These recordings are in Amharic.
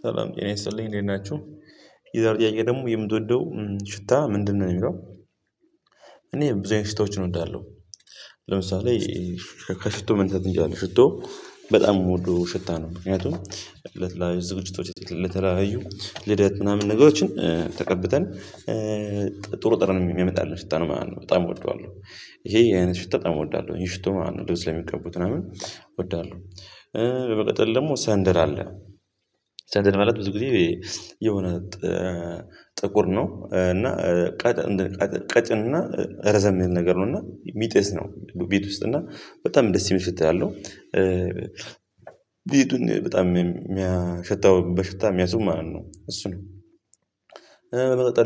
ሰላም ጤና ይስጥልኝ እንዴት ናችሁ የዛሬው ጥያቄ ደግሞ የምትወደው ሽታ ምንድነው የሚለው? እኔ ብዙ አይነት ሽታዎችን እወዳለሁ። ለምሳሌ ከሽቶ ምን ታገኛለህ ሽቶ በጣም የምወደው ሽታ ነው። ምክንያቱም ለት ላይ ዝግጅቶች ለተለያዩ ልደት ምናምን ነገሮችን ተቀብተን ጥሩ ጠረን የሚያመጣልን ሽታ ነው ማለት ነው። በጣም እወደዋለሁ ይሄ አይነት ሽቶ በጣም እወደዋለሁ ይህ ሽቶ ማለት ነው ልብስ የሚቀቡት ምናምን እወዳለሁ። በመቀጠል ደግሞ ሰንደል አለ። ሰንደል ማለት ብዙ ጊዜ የሆነ ጥቁር ነው እና ቀጭን እና ረዘም የሚል ነገር ነው። እና ሚጠስ ነው ቤት ውስጥ እና በጣም ደስ የሚል ሽታ ያለው። ቤቱን በጣም የሚያሸታው በሽታ የሚያስውብ ማለት ነው እሱ ነው።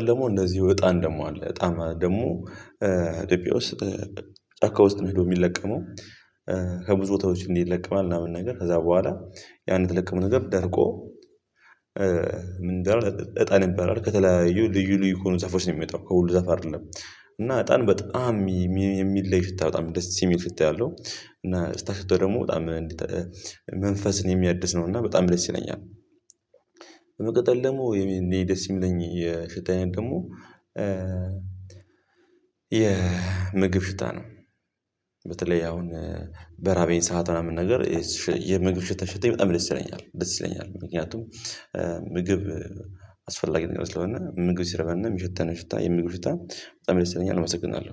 ደግሞ እንደዚሁ እጣን ደግሞ አለ። እጣን ደግሞ ደቂያ ውስጥ ጫካ ውስጥ ሄዶ የሚለቀመው ከብዙ ቦታዎች እንዲህ ይለቅማል ምናምን ነገር ከዛ በኋላ ያንን የተለቀመው ነገር ደርቆ። ምንድነው እጣ ነበር ከተለያዩ ልዩ ልዩ ከሆኑ ዛፎች ነው የሚወጣው ከሁሉ ዛፍ አይደለም። እና አጣን በጣም የሚለይ ሽታ በጣም ደስ የሚል ሽታ ያለው እና ስታሽተው ደግሞ በጣም መንፈስን የሚያድስ ነው እና በጣም ደስ ይለኛል። በመቀጠል ደግሞ እንዴ ደስ የሚለኝ የሽታ አይነት ደግሞ የምግብ ሽታ ነው። በተለይ አሁን በራበኝ ሰዓት ምናምን ነገር የምግብ ሽታ ሲሽተኝ በጣም ደስ ይለኛል ደስ ይለኛል። ምክንያቱም ምግብ አስፈላጊ ነገር ስለሆነ ምግብ ሲርበን የሚሸተንን ሽታ የምግብ ሽታ በጣም ደስይለኛል አመሰግናለሁ